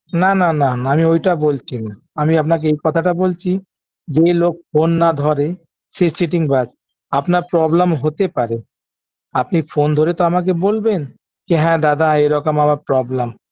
না না না আমি ওইটা বলছি না আমি আপনাকে এই কথাটা বলছি যে লোক phone না ধরে সে চিটিংবাজ আপনার problem হতে পারে আপনি phone ধরে তো আমাকে বলবেন যে হ্যাঁ কি দাদা এরকম আমার problem